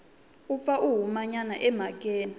u pfa a humanyana emhakeni